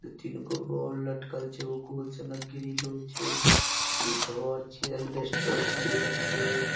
तीनगो बॉल लटकल छै उ कुछ न ग्रिल छै इ घर छै ऐलबैस्टर देल छै।